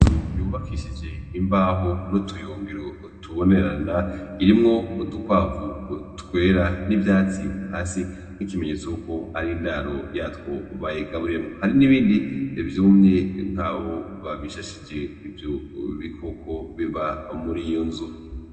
Inzu yubakishije imbaho n'utuyungiro tubonerana irimwo udukwavu twera n'ivyatsi hasi nk'ikimenyetso yuko ar'indaro yatwo bayigaburiyemwo . Hari n'ibindi vyumye mugabo babishashije ivyo bikoko biba mur 'iyo nzu.